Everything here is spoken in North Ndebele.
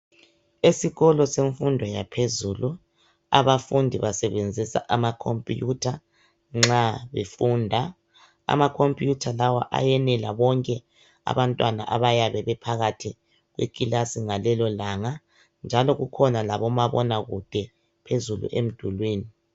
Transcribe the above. Esikolo semfundo yaphezulu abafundi basebenzisa amakhompuyutha nxa befunda amakhompuyutha lawa ayenela bonke abantwana abayabe bephakathi kwekilasi ngalelo langa njalo kukhona labomabonakude phezulu emdulwini.